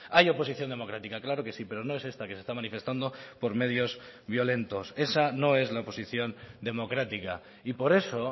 hay oposición democrática claro que sí pero no es esta que se está manifestando por medios violentos esa no es la oposición democrática y por eso